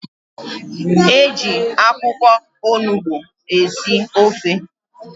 E ji akwụkwọ onugbu esi ofe.